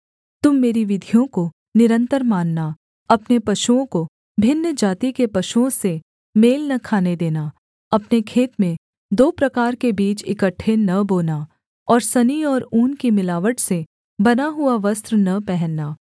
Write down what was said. तुम मेरी विधियों को निरन्तर मानना अपने पशुओं को भिन्न जाति के पशुओं से मेल न खाने देना अपने खेत में दो प्रकार के बीज इकट्ठे न बोना और सनी और ऊन की मिलावट से बना हुआ वस्त्र न पहनना